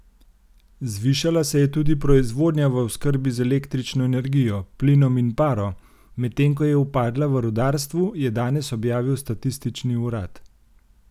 Zvišala se je tudi proizvodnja v oskrbi z električno energijo, plinom in paro, medtem ko je upadla v rudarstvu, je danes objavil statistični urad.